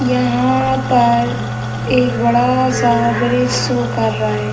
यहाँ पर एक बड़ा-सा गेराज शो कर रहे --